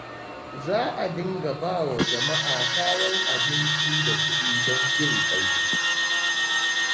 Za a dinga ba wa jama'a kayan abinci da kuɗi don jin ƙai.